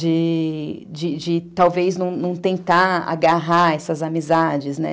De de de talvez não tentar agarrar essas amizades, né?